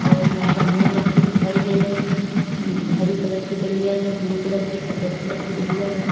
और चाऊमीन रखी दिखाई दे रही है हरी कलर की डलिया में ब्लू कलर की सफेद कलर की डलिया है।